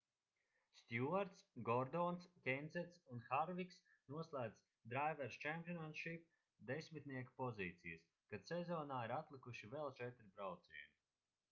stjuarts gordons kensets un harviks noslēdz drivers' championship desmitnieka pozīcijas kad sezonā ir atlikuši vēl četri braucieni